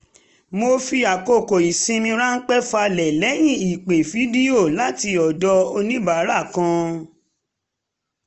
mo fi àkókò ìsinmi ránpẹ́ falẹ̀ lẹ́yìn ìpè fídíò láti ọ̀dọ̀ oníbàárà kan